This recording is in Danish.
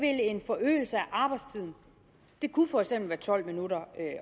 at en forøgelse af arbejdstiden det kunne for eksempel være tolv minutter